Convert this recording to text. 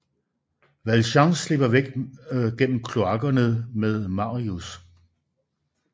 Valjean slipper væk gennem kloakkerne med Marius